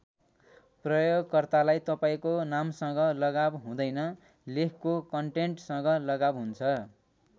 प्रयोगकर्तालाई तपाईँको नामसँग लगाव हुँदैन लेखको कन्टेन्ट्सँग लगाव हुन्छ।